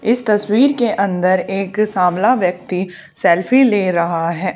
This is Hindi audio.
इस तस्वीर के अंदर एक सांवला व्यक्ति सेल्फी ले रहा है।